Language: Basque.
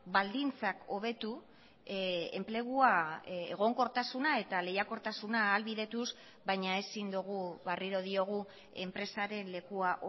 baldintzak hobetu enplegua egonkortasuna eta lehiakortasuna ahalbidetuz baina ezin dugu berriro diogu enpresaren lekua